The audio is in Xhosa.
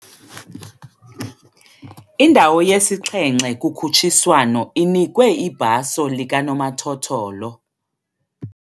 Indawo yesixhenxe kukhutshiswano inikwe ibhaso likanomathotholo.